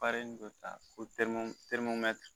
dɔ ta ko te